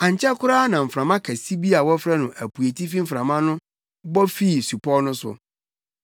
Ankyɛ koraa na mframa kɛse bi a wɔfrɛ no “Apueitifi Mframa” bɔ fii supɔw no so.